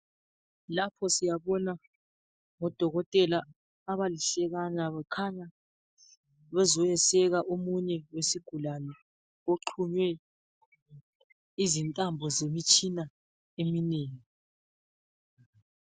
Lapho siyabona odokotela abalihlekana bekhanya bezoyeseka omunye oyisigulane oxhunywe izintambo zemtshina eminengi.